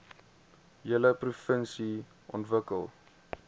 hele provinsie ontwikkel